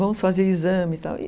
Vamos fazer exame e tal.